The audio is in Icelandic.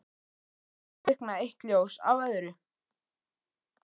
Og hér kviknaði eitt ljós af öðru